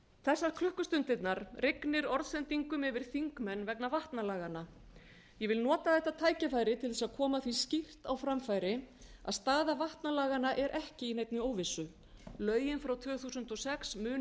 þessar klukkustundirnar rignir orðsendingum yfir þingmenn vegna vatnalaganna ég vil nota þetta tækifæri til þess að koma því skýrt á framfæri að staða vatnalaganna er ekki í neinni óvissu lögin frá tvö þúsund og sex munu ekki taka